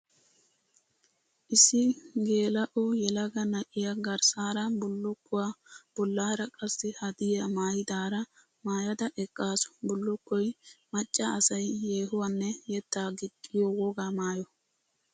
Issi geela'o yelaga na'iya garssara bullukkuwaa bollara qassi haddiya maayidaara maayada eqqasu. Bullukkoy macca asay yeehuwanne yetta gixxiyo wogaa maayo.